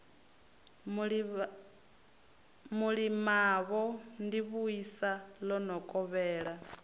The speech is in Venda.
mulimavho ḓivhuisa ḽo no kovhela